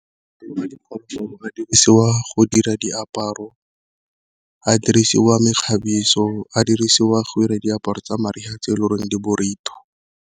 diphologolo a dirisiwa go dira diaparo, a dirisiwa mekgabiso, a dirisiwa gore diaparo tsa mariga tse e le gore di .